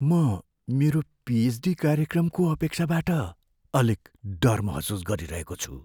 म मेरो पिएचडी कार्यक्रमको अपेक्षाबाट अलिक डर महसुस गरिरहेको छु।